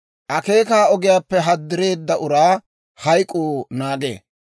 Akeeka ogiyaappe haddireedda uraa hayk'k'uu naagee.